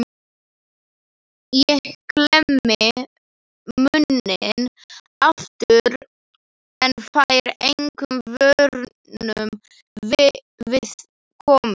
Ég klemmi munninn aftur en fæ engum vörnum við komið.